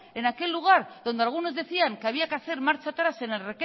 en aquel lugar donde algunos decían que había que hacer marcha atrás